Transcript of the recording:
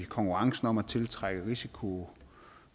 konkurrencen om at tiltrække risikovillig